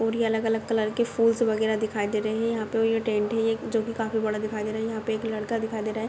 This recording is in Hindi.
पूरी अलग-अलग कलर के फूल्स वगैरा दिखाई दे रहे है। यहाँ पे ये टेंट है जो की काफी बड़ा दिखाई दे रहा है। यहाँ पे एक लड़का दिखाई दे रहा है।